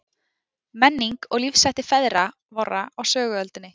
Menning og lífshættir feðra vorra á söguöldinni.